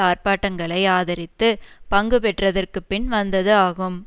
ஆர்ப்பாட்டங்களை ஆதரித்து பங்கு பெற்றதற்குப் பின் வந்தது ஆகும்